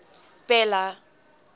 bela